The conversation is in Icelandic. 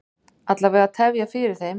Alla vega tefja fyrir þeim.